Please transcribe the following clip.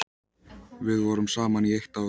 Við vorum saman í eitt ár.